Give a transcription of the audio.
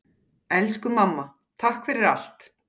Elsku mamma, takk fyrir allt.